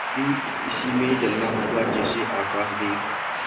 मुझे भी इसी में जलना होगा जैसे आकाशदीप